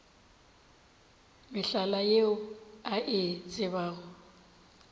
mehlala yeo a e tsebago